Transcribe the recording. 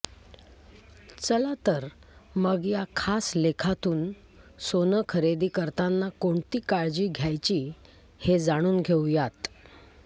चला तर मग या खास लेखातून सोनं खरेदी करताना कोणती काळजी घ्यायची हे जाणून घेऊयात